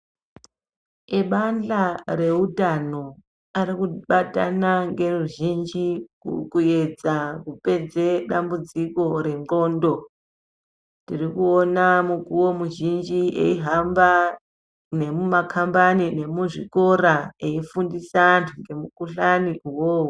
Ebandhla reutano arikubatana ngeruzhinji kuedza kupedza dambudziko renxondo. Tiri kuona mukuwo mizhinji eihamba nemumakambani nemuzvikora eifundisa antu ngemukuhlani uwowo.